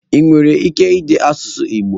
Ị nwere ike ide asụsụ igbo?